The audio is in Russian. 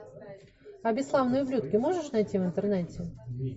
а бесславные ублюдки можешь найти в интернете